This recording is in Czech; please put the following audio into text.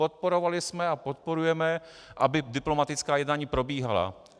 Podporovali jsme a podporujeme, aby diplomatická jednání probíhala.